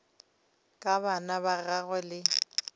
ka bana ba gagwe le